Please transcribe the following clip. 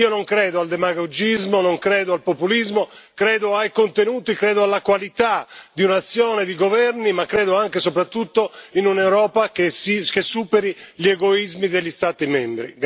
Io non credo al demagogismo, non credo al populismo, credo ai contenuti, credo alla qualità di un'azione di governo, ma credo anche e soprattutto in un'Europa che superi gli egoismi degli Stati membri.